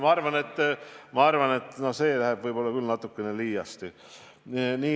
Ma arvan, et see läheks küll võib-olla natuke liiale.